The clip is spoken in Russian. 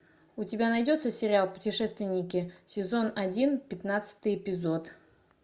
у тебя найдется сериал путешественники сезон один пятнадцатый эпизод